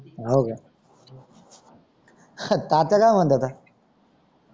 हव का ह ताप आला मन्ते का